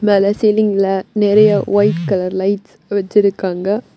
மேல சீலிங்ல நிறைய வைட் கலர் லைட்ஸ் வச்சிருக்காங்க.